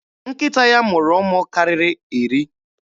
Nkịta ya mụrụ ụmụ karịrị iri.